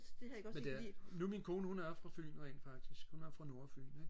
men det er nu min kone hun er fra fyn rent faktisk hun er fra nordfyn ikke